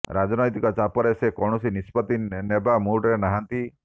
ରାଜନ୘ତିକ ଚାପରେ ସେ କୌଣସି ନିଷ୍ପତ୍ତି ନେବା ମୁଡରେ ନାହାନ୍ତି